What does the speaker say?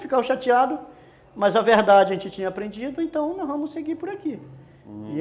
Ficava chateado, mas a verdade a gente tinha aprendido, então nós vamos seguir por aqui, uhum.